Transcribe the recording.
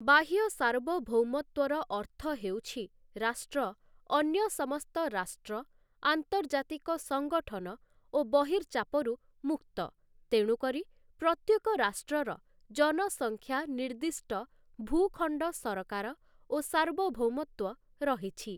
ବାହ୍ୟ ସାର୍ବଭୌମତ୍ଵର ଅର୍ଥ ହେଉଛି ରାଷ୍ଟ୍ର ଅନ୍ୟ ସମସ୍ତ ରାଷ୍ଟ୍ର ଆନ୍ତର୍ଜାତିକ ସଂଗଠନ ଓ ବହିର୍ଚାପରୁ ମୁକ୍ତ ତେଣୁକରି ପ୍ରତ୍ୟେକ ରାଷ୍ଟ୍ରର ଜନସଂଖ୍ୟା ନିର୍ଦ୍ଦିଷ୍ଟ ଭୂଖଣ୍ଡ ସରକାର ଓ ସାର୍ବଭୌମତ୍ଵ ରହିଛି ।